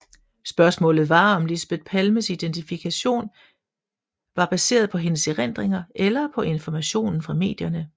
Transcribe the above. Spørgsmålet var om Lisbeth Palmes identikation var baseret på hendes erindringer eller på informationen fra medierne